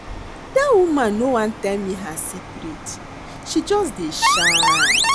Dat woman no wan tell me her secret she just dey shine